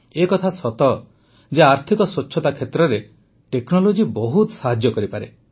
ଏକଥା ସତ ଯେ ଆର୍ଥିକ ସ୍ୱଚ୍ଛତା କ୍ଷେତ୍ରରେ ଟେକ୍ନୋଲୋଜି ବହୁତ ସାହାଯ୍ୟ କରିପାରେ